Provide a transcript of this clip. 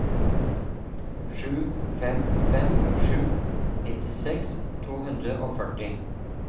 sju fem fem sju nittiseks to hundre og førti